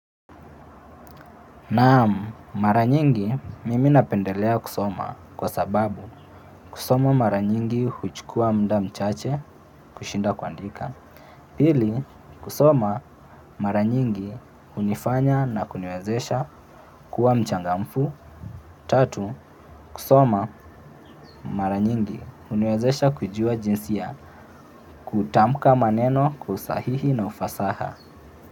Naam, mara nyingi mimi napendelea kusoma kwa sababu kusoma mara nyingi huchukua muda mchache kushinda kuandika. Pili, kusoma mara nyingi unifanya na kuniwezesha kuwa mchangamfu. Tatu, kusoma mara nyingi uniwezesha kujua jinsi ya kutamka maneno kwa usahihi na ufasaha.